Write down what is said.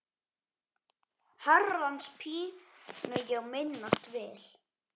Herrans pínu ég minnast vil.